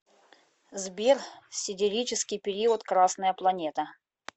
сбер сидерический период красная планета